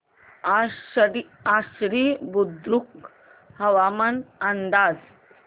आश्वी बुद्रुक हवामान अंदाज